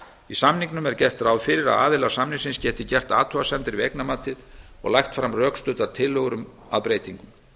í samningnum er gert ráð fyrir að aðilar samnings geti gert athugasemdir við eignamatið og lagt fram rökstuddar tillögur að breytingum